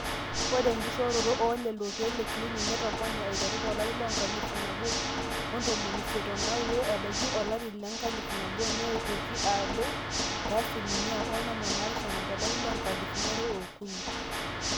ore enkishooroto oolelo keek leclinic netopone eiteru toolarin enkalifu nabo ontomoni isiet ooudo nebaiki olefi le nkalifu nabo neitoki adou te asilimia onom oopishana tolari loonkalifuni are ookuni